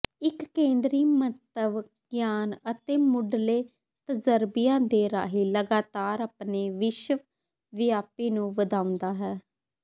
ਇੱਕ ਕੇਂਦਰੀ ਮੰਤਵ ਗਿਆਨ ਅਤੇ ਮੁੱਢਲੇ ਤਜ਼ਰਬਿਆਂ ਦੇ ਰਾਹੀਂ ਲਗਾਤਾਰ ਆਪਣੇ ਵਿਸ਼ਵਵਿਆਪੀ ਨੂੰ ਵਧਾਉਂਦਾ ਹੈ